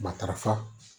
Matarafa